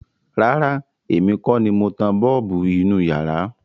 Rárá, èmi kọ́ ni mo tan bọ́ọ̀bù inú iyàrá.